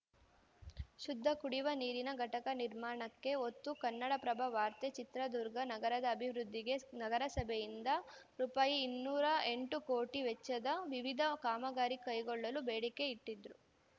ಶುದ್ಧ ಕುಡಿವ ನೀರಿನ ಘಟಕ ನಿರ್ಮಾಣಕ್ಕೆ ಒತ್ತು ಕನ್ನಡಪ್ರಭ ವಾರ್ತೆ ಚಿತ್ರದುರ್ಗ ನಗರದ ಅಭಿವೃದ್ಧಿಗೆ ಸ್ ನಗರಸಭೆಯಿಂದ ರೂಪಾಯಿ ಇನ್ನೂರ ಎಂಟು ಕೋಟಿ ವೆಚ್ಚದ ವಿವಿಧ ಕಾಮಗಾರಿ ಕೈಗೊಳ್ಳಲು ಬೇಡಿಕೆ ಇಟ್ಟಿದ್ದು